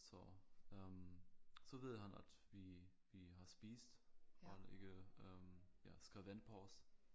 Så øh så ved han at vi vi har spist og han ikke øh ja skal vente på os